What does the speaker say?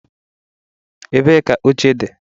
Ebee ka oche dị?